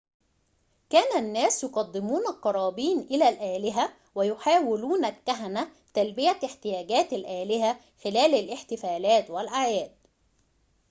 كان الناس يقدمون القرابين إلى الآلهة ويحاول الكهنة تلبية احتياجات الآلهة خلال الاحتفالات والأعياد